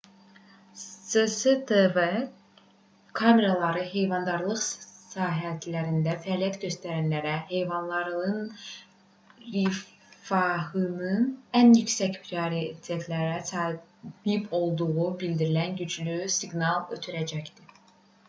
cctv kameraları heyvandarlıq sahəsində fəaliyyət göstərənlərə heyvanların rifahının ən yüksək prioritetə sahib olduğunu bildirən güclü siqnal ötürəcəkdir